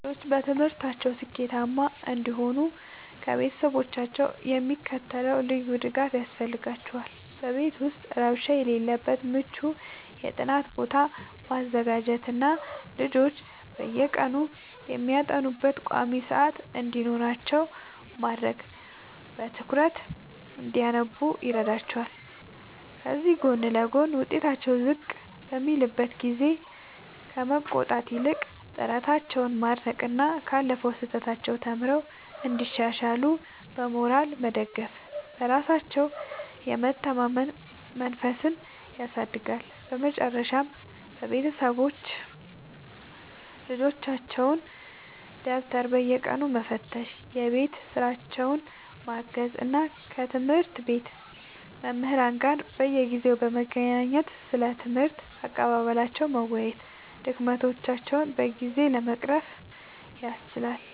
ልጆች በትምህርታቸው ስኬታማ እንዲሆኑ ከቤተሰቦቻቸው የሚከተለው ልዩ ድጋፍ ያስፈልጋቸዋል፦ በቤት ውስጥ ረብሻ የሌለበት ምቹ የጥናት ቦታ ማዘጋጀትና ልጆች በየቀኑ የሚያጠኑበት ቋሚ ሰዓት እንዲኖራቸው ማድረግ በትኩረት እንዲያነቡ ይረዳቸዋል። ከዚህ ጎን ለጎን፣ ውጤታቸው ዝቅ በሚልበት ጊዜ ከመቆጣት ይልቅ ጥረታቸውን ማድነቅና ካለፈው ስህተት ተምረው እንዲሻሻሉ በሞራል መደገፍ በራሳቸው የመተማመን መንፈስን ያሳድጋል። በመጨረሻም ቤተሰቦች የልጆቻቸውን ደብተር በየቀኑ መፈተሽ፣ የቤት ሥራቸውን ማገዝ እና ከትምህርት ቤት መምህራን ጋር በየጊዜው በመገናኘት ስለ ትምህርት አቀባበላቸው መወያየት ድክመቶቻቸውን በጊዜ ለመቅረፍ ያስችላል።